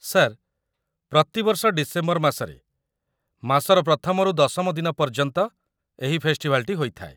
Sir, ପ୍ରତିବର୍ଷ December ମାସରେ, ମାସର ପ୍ରଥମରୁ ଦଶମ ଦିନ ପର୍ଯ୍ୟନ୍ତ ଏହି ଫେଷ୍ଟିଭାଲ୍‌ଟି ହୋଇଥାଏ ।